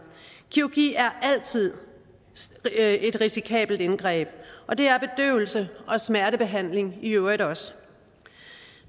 kirurgi er altid et risikabelt indgreb og det er bedøvelse og smertebehandling i øvrigt også